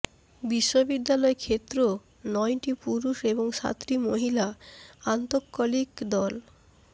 বিশ্ববিদ্যালয় ক্ষেত্র নয়টি পুরুষ এবং সাতটি মহিলা আন্তঃকলিক দল